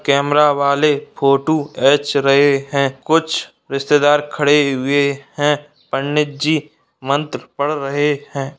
कैमरे वाले फोटो एच रहे हैं कुछ रिश्तेदार खड़े हैं पंडित जी मंत्र पढ़ रहे हैं।